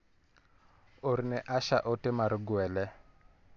Orne Asha ote mar gwele.